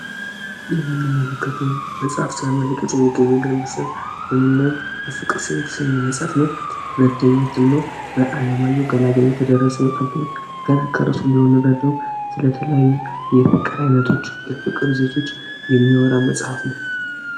ይህ የምንመለከተው መጽሐፍ ስለ የምናየው በፍቅር ስም የተሰኝ መጽፍ ነው ሁለተኛትኖ በዓለማዩ ገላጋይ የተደረስ መጻን ፊሆን ገና ከርሱን ሊሆኑ ረደው ስለ ተለያዩ የፍቅር ዓይነቶች የፍቅር ይዘቶች የሚወራ መጽሐፍ ነው።